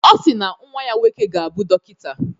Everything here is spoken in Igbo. Ọ si na nnwa ya nwoke ga-abụ dọkịta.